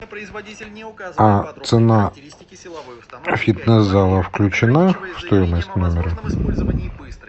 а цена фитнес зала включена в стоимость номера